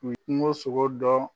U ye kungo sogo dɔn.